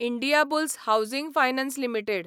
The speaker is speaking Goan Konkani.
Indiabulls housing finance limited